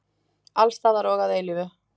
Alls staðar og að eilífu?